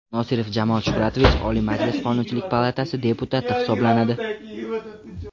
Nosirov Jamol Shuhratovich Oliy Majlis Qonunchilik palatasi deputati hisoblanadi.